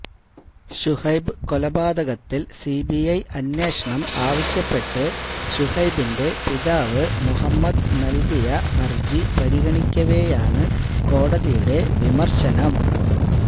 ശുഹൈബ് കൊലപാതകത്തില് സിബിഐ അന്വേഷണം ആവശ്യപ്പെട്ട് ശുഹൈബിന്റെ പിതാവ് മുഹമ്മദ് നല്കിയ ഹര്ജി പരിഗണിക്കവെയാണ് കോടതിയുടെ വിമര്ശനം